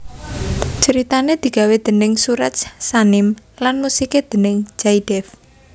Ceritané digawe déning Suraj Sanim lan musiké déning Jaydev